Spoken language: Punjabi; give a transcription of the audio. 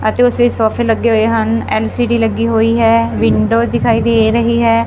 ਅਤੇ ਉਸ ਵਿੱਚ ਸੋਫੇ ਲੱਗੇ ਹੋਏ ਹਨ ਐਲ_ਸੀ_ਡੀ ਲੱਗੀ ਹੋਈ ਹੈ ਵਿੰਡੋ ਦਿਖਾਈ ਦੇ ਰਹੀ ਹੈ।